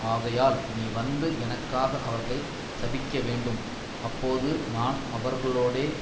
ஆகையால் நீ வந்து எனக்காக அவர்களை சபிக்கவேண்டும் அப்போது நான் அவர்களோடே